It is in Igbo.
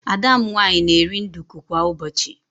Ada m nwaanyị na-eri nduku kwa ụbọchị.